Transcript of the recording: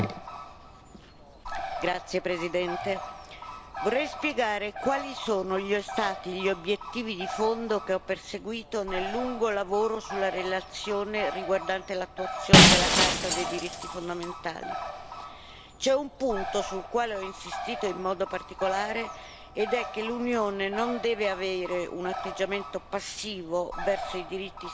Signor Presidente, onorevoli colleghi, vorrei spiegare quali sono stati gli obiettivi di fondo che ho perseguito nel lungo lavoro sulla relazione riguardante l'attuazione della Carta dei diritti fondamentali. C'è un punto sul quale ho insistito in modo particolare, ed è che l'Unione non deve avere un atteggiamento passivo verso i diritti sanciti dalla Carta,